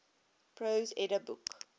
prose edda book